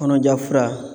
Kɔnɔja fura